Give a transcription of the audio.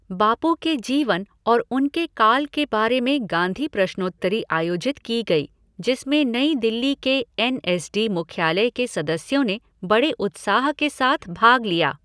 बापू के जीवन और उनके काल के बारे में गांधी प्रश्नोत्तरी आयोजित की गयी जिसमें नई दिल्ली के एन एस डी मुख्यालय के सदस्यों ने बड़े उत्साह के साथ भाग लिया।